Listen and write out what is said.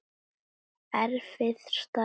Erfið staða.